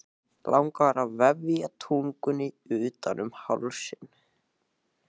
Langar að vefja tungunni utan um hálsinn.